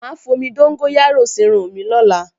Mà á fomi dóngóyárò sírun mi lọ́la